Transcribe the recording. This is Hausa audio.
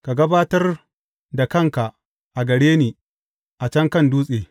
Ka gabatar da kanka a gare ni a can kan dutse.